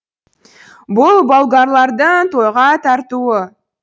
бұл болгарлардың тойға тартуы